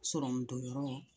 Sɔrɔmudonyɔrɔ